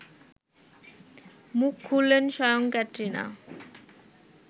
মুখ খুললেন স্বয়ং ক্যাটরিনা